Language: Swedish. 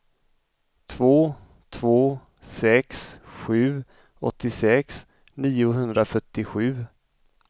två två sex sju åttiosex niohundrafyrtiosju